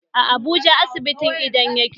A Abuja asibitin idon yake